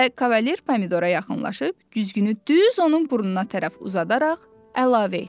Və Kavalier Pomidora yaxınlaşıb güzgünü düz onun burnuna tərəf uzadaraq əlavə etdi.